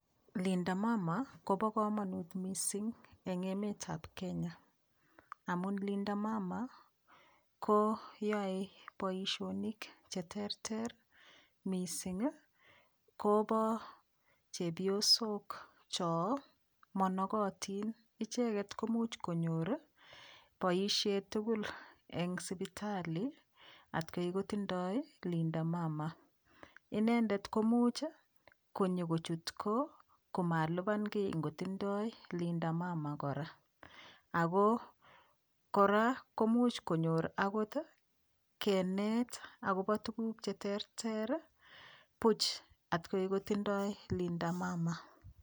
Linda mama kobo kamanut mising eng emetab Kenya, amun linda mama ko yoe boisionik che terter, mising ii kobo chepyosok cho monokotin, icheket ko much konyor ii boisiet tugul eng sipitali atkei kotindoi ii linda mama, inendet komuch konyokochutgo komalipan kiy ngotindoi linda mama kora, ako kora komuch konyor akot kenet akobo tukuk che terter ii buch atkoi kotindoi linda mama.